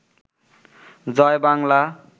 Joy Bangla